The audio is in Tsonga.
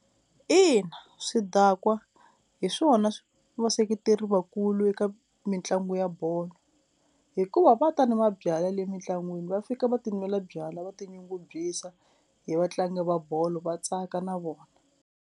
Ina swidakwa hi swona vaseketeri vakulu eka mitlangu ya bolo hikuva va ta ni mabyalwa le mintlangwini va fika va tinwela byalwa va tinyungubyisa hi vatlangi va bolo va tsaka na vona.